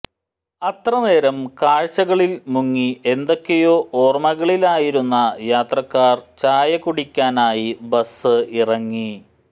അത്രനേരം കാഴ്ചകളിൽ മുങ്ങി ഏതൊക്കെയോ ഓർമകളിലായിരുന്ന യാത്രക്കാർ ചായകുടിക്കാനായി ബസ് ഇറങ്ങി